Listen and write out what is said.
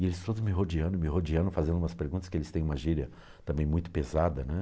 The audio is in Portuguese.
E eles todos me rodeando, me rodeando, fazendo umas perguntas, que eles têm uma gíria também muito pesada, né?